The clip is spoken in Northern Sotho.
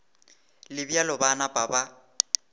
le bjalo ba napa ba